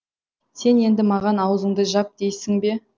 сен енді маған ауызыңды жап дейсің бе